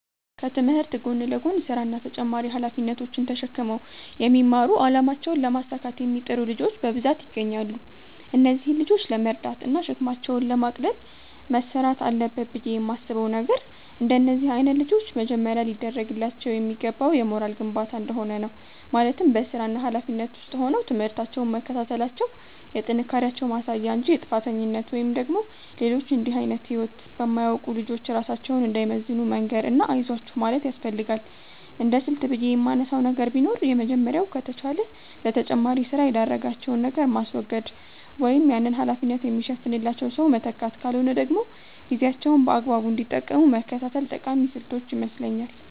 ከትምህርት ጎን ለጎን ስራ እና ተጨማሪ ሃላፊነቶች ተሽክመው የሚማሩ አላማቸውን ለማሳካት የሚጥሩ ልጆች በብዛት ይገኛሉ። እነዚህን ልጆች ለመርዳት እና ሸክማቸውን ለማቅለል መስራት አለበት ብየ የማስበው ነገር፤ እንደነዚህ አይነት ልጆች መጀመሪያ ሊደርግላቸው የሚገባው የሞራል ግንባታ እንደሆነ ነው፤ ማለትም በስራና ሀላፊነት ውስጥ ሆነው ትምህርታቸውን መከታተላቸው የጥንካሬያቸው ማሳያ እንጂ የጥፋተኝነት ወይም ደግሞ ሌሎች እንድህ አይነት ህይወት በማያውቁት ልጆች ራሳቸውን እንዳይመዝኑ መንገር እና አይዟችሁ ማለት ያስፈልጋል። እንደስልት ብየ የማነሳው ነገር ቢኖር የመጀመሪያው ከተቻለ ለተጨማሪ ስራ የዳረጋቸውን ነገር ማስወገድ ወይም ያንን ሀላፊነት የሚሸፍንላቸው ሰው መተካት ካልሆነ ደግሞ ጊዜያቸውን በአግባቡ እንዲጠቀሙ መከታተል ጠቃሚ ስልቶች ይመስለኛል።